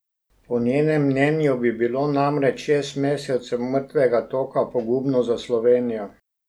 Po njenem mnenju bi bilo namreč šest mesecev mrtvega toka pogubno za Slovenijo.